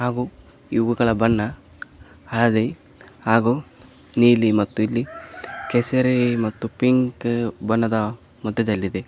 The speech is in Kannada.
ಹಾಗೂ ಇವುಗಳ ಬಣ್ಣ ಹಳದಿ ಹಾಗೂ ನೀಲಿ ಮತ್ತು ಇಲ್ಲಿ ಕೇಸರಿ ಮತ್ತು ಪಿಂಕ್ ಬಣ್ಣದ ಮೊತ್ತದಲ್ಲಿದೆ.